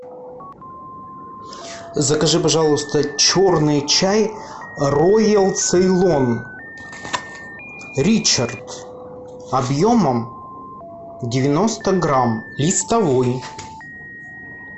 закажи пожалуйста черный чай роял цейлон ричард объемом девяносто грамм листовой